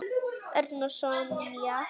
Örn og Sonja.